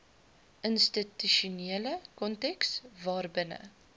institusionele konteks waarbinne